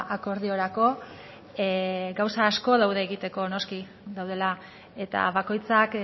akordiorako gauza asko daude egoteko noski daudela eta bakoitzak